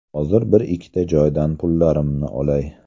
Hozir bir-ikkita joydan pullarimni olay.